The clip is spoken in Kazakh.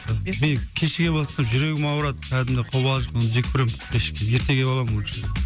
кешіге бастасам жүрегім ауырады кәдімгі қобалжып мен жек көремін кешіккенді ерте келіп аламын лучше